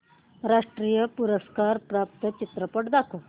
राष्ट्रीय पुरस्कार प्राप्त चित्रपट दाखव